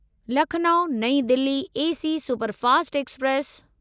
Lucknow New Delhi AC superfast express